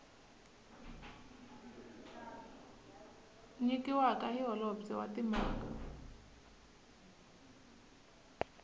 nyikiwaka hi holobye wa timhaka